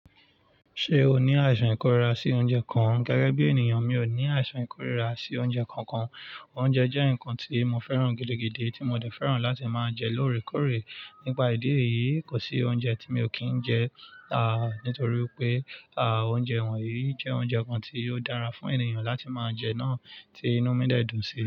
Ṣé o ní àìsàn ìkórira sí oúnjẹ kan? Gẹ́gẹ́ bí ènìyàn, mi ò ní àìsàn ìkórira sí oúnjẹ kankan. Oúnjẹ jẹ́ nǹkan tí mo fẹ́ràn gidigidi tí mo dẹ̀ fẹ́ràn láti máa jẹ lóore kóòré. Nípa ìdí èyí, kò sí oúnjẹ tí mi ò kí ń jẹ, à, nítorí pé, à, oúnjẹ wọ̀nyí jẹ́ oúnjẹ kan tí ó dára fún ènìyàn láti máa jẹ náà tí inú mi dẹ̀ dùn sí i.